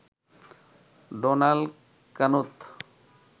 Donald Knuth